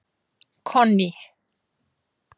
Konný